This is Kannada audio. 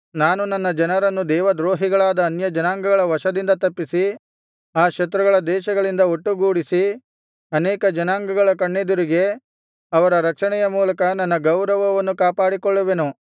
ನಾನು ನನ್ನ ಜನರನ್ನು ದೇವದ್ರೋಹಿಗಳಾದ ಅನ್ಯಜನಾಂಗಗಳ ವಶದಿಂದ ತಪ್ಪಿಸಿ ಆ ಶತ್ರುಗಳ ದೇಶಗಳಿಂದ ಒಟ್ಟುಗೂಡಿಸಿ ಅನೇಕ ಜನಾಂಗಗಳ ಕಣ್ಣೆದುರಿಗೆ ಅವರ ರಕ್ಷಣೆಯ ಮೂಲಕ ನನ್ನ ಗೌರವವನ್ನು ಕಾಪಾಡಿಕೊಳ್ಳುವೆನು